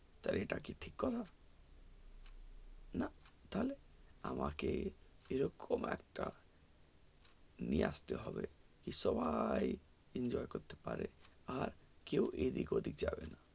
তা এটা কি ঠিক কথা না তালে আমাকে এরকম একটা নিয়ে আসতে হবে সবাই enjoy করতে পারবে আর কেউ এদিক ওদিক যাবে না